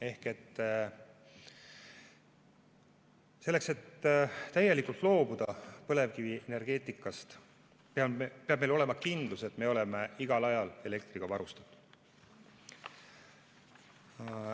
Ehk selleks, et täielikult loobuda põlevkivienergeetikast, peab meil olema kindlus, et me oleme igal ajal elektriga varustatud.